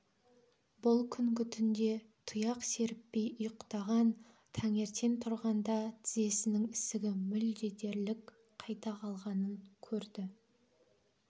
бұл күнгі түнде тұяқ серіппей ұйықтаған таңертең тұрғанда тізесінің ісігі мүлде дерлік қайта қалғанын көрді